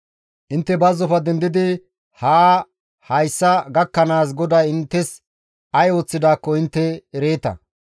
Intte bazzofe dendidi haa hayssa gakkanaas GODAY inttes ay ooththidaakko intte ereeta.